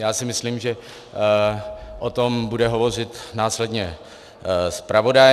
Já si myslím, že o tom bude hovořit následně zpravodaj.